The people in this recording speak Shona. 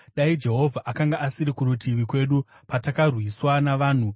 dai Jehovha akanga asiri kurutivi kwedu patakarwiswa navanhu,